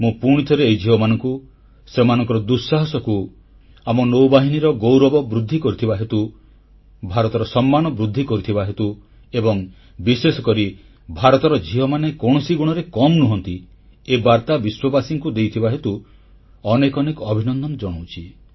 ମୁଁ ପୁଣିଥରେ ଏହି ଝିଅମାନଙ୍କୁ ଏବଂ ସେମାନଙ୍କ ଦୁଃସାହାସକୁ ଆମ ନୌବାହିନୀର ଗୌରବ ବୃଦ୍ଧି କରିଥିବା ହେତୁ ଭାରତର ସମ୍ମାନ ବୃଦ୍ଧି କରିଥିବା ହେତୁ ଏବଂ ବିଶେଷକରି ଭାରତର ଝିଅମାନେ କୌଣସି ଗୁଣରେ କମ୍ ନୁହଁନ୍ତି ଏ ବାର୍ତ୍ତା ବିଶ୍ୱବାସୀଙ୍କୁ ଦେଇଥିବା ହେତୁ ଅନେକ ଅନେକ ଅଭିନନ୍ଦନ ଜଣାଉଛି